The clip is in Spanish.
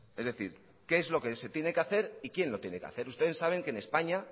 es decir qué es lo que se tiene que hacer y quién lo tiene que hacer ustedes saben que en españa